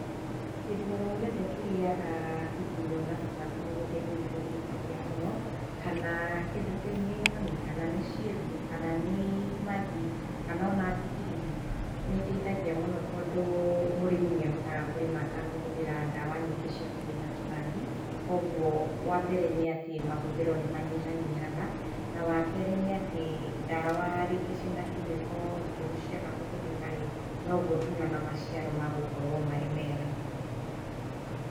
Kĩndũ oro-gĩothe kĩrĩaga igũnyo na tũtambi mũgũnda-inĩ nĩ gĩteithagia mũno, Kana kĩndũ kĩu nĩ nyoni, kana nĩ ciĩmbu, kana magĩ kana ona nĩ thigiriri, nĩ iteithagia mũno tondũ mũrĩmĩ nĩ ahotaga kũrĩma atakũhũthĩra ndawa nyingĩ cia kũnĩna tũtambĩ. Kwoguo wambere nĩ atĩ mahũthĩro nĩ manyihanyihaga. Wa kerĩ nĩ atĩ ndawa ciĩna chemical njũru ciaga kũhũrhĩka rĩ, noguo ona maciaro megũkorwo marĩ mega.